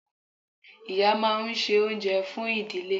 Ìyá máa n se oúnjẹ fún ìdílé